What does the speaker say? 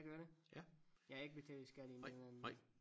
Jeg gør det jeg betaler skat i øh